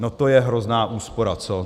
No to je hrozná úspora, co?